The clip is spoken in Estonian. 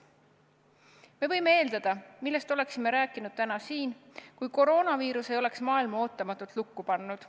Me võime eeldada, millest oleksime rääkinud täna siin, kui koroonaviirus ei oleks maailma ootamatult lukku pannud.